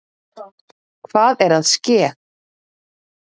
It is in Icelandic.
Hvað er að ske!